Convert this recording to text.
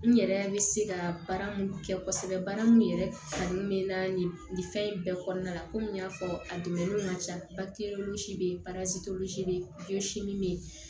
N yɛrɛ bɛ se ka baara mun kɛ kosɛbɛ baara min yɛrɛ kanu bɛ n na nin fɛn in bɛɛ kɔɔna la komi n y'a fɔ a dɛmɛ ka ca bake yen